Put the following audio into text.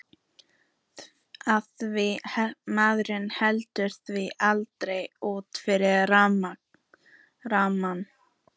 Af því maður hleypir því aldrei út fyrir rammann.